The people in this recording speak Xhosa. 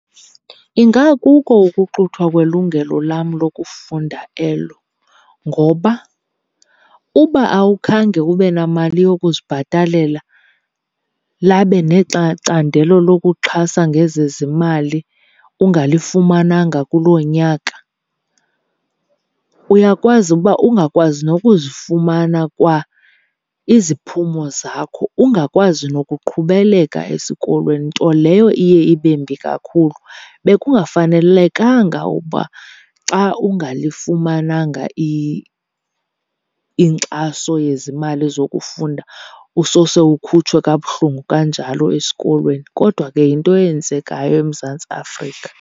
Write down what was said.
Ingakuko ukuxuthwa kwelungelo lam lokufunda elo ngoba uba awukhange ube namali yokuzibhatalela labe lokuxhasa ngezezimali ungalifumananga kuloo nyaka, uyakwazi uba ungakwazi nokuzifumana kwa iziphumo zakho, ungakwazi nokuqhubeleka esikolweni nto leyo iye ibembi kakhulu. Bekungafanelekanga uba xa ungalifumananga inkxaso yezimali zokufunda usose ukhutshwe kabuhlungu kanjalo esikolweni, kodwa ke yinto eyenzekayo eMzantsi Afrika.